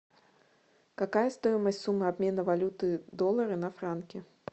какая стоимость суммы обмена валюты доллара на франки